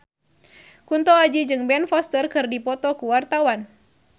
Kunto Aji jeung Ben Foster keur dipoto ku wartawan